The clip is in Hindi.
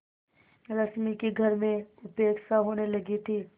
रश्मि की घर में उपेक्षा होने लगी थी